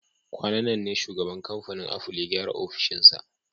Kwanan nan ne shugaban kamfanin Aful ya gyara ofishinsa